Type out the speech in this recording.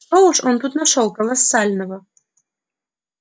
что уж он тут нашёл колоссального